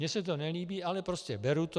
Mně se to nelíbí, ale prostě beru to.